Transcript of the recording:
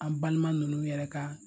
An balima ninnu yɛrɛ ka